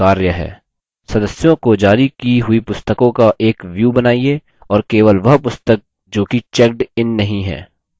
सदस्यों को जारी की हुई पुस्तकों का एक view बनाइए और केवल वह पुस्तक जोकि checked इन नहीं है